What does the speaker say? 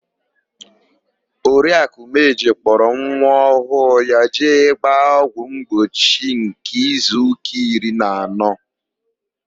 Oriakụ Umeji kpọrọ nwa ọhụụ ya jee gbaa ọgwụ mgbochi nke izuụka iri na anọ.